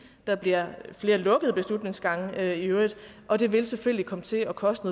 der bliver flere lukkede beslutningsgange i øvrigt og det vil selvfølgelig komme til at koste